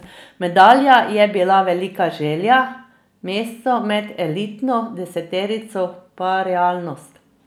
Medalja je bila velika želja, mesto med elitno deseterico pa realnost.